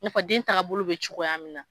I na fɔ den taaga bolo bɛ cogoya min na.